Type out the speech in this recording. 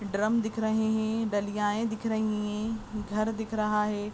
Drum दिख रहे है डलियाए दिख रही है घर दिख रहा है।